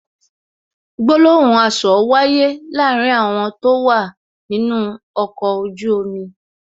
Gbólóhùn asọ̀ wáyé láàárín àwọn tó wà nínú ọkọ̀ ojú omi